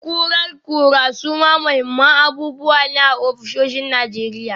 Kurar kura suma muhimman abubuwa ne a ofisoshin Najeriya.